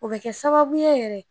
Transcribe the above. O bɛ kɛ sababuye yɛrɛ